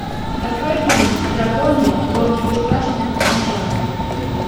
открой фильм драконы гонки бесстрашных начало